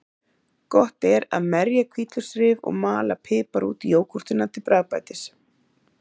Gott er að merja hvítlauksrif og mala pipar út í jógúrtina til bragðbætis.